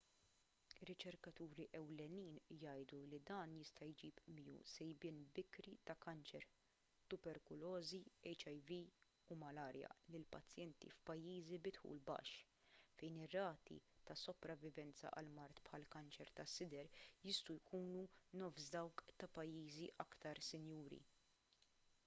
riċerkaturi ewlenin jgħidu li dan jista' jġib miegħu sejbien bikri ta' kanċer tuberkulożi hiv u malarja lil pazjenti f'pajjiżi bi dħul baxx fejn ir-rati ta' sopravivenza għal mard bħall-kanċer tas-sider jistgħu jkunu nofs dawk ta' pajjiżi aktar sinjuri